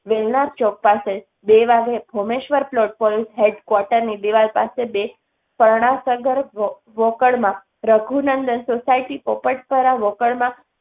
વહેલા ચોક પાસે બે વાગે, ભોમેશ્વર પ્લોટ પોલીસ હેડ્ક્વાર્ટરની દીવાલ પાસે બે પરણાસરગર વો વોકડમાં, રઘુનંદન સોસાયટી પોપટપરા વોકડમાં